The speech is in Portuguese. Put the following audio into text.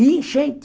E enchente.